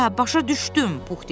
Hə, başa düşdüm, Pux dedi.